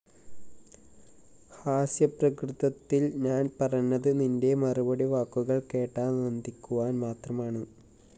ഹാസ്യപ്രകൃതത്തില്‍ ഞാന്‍ പറഞ്ഞത് നിന്റെ മറുപടി വാക്കുകള്‍ കേട്ടാനന്ദിക്കുവാന്‍ മാത്രമാണ്